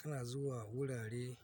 Kana zuwa wurare